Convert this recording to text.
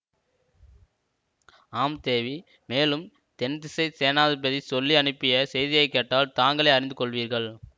ஆம் தேவி மேலும் தென்திசைச் சேனாதிபதி சொல்லி அனுப்பிய செய்தியை கேட்டால் தாங்களே அறிந்து கொள்வீர்கள்